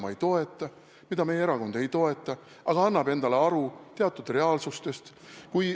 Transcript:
Ma ei toeta seda, meie erakond ei toeta seda, aga me anname endale aru, milline on reaalsus.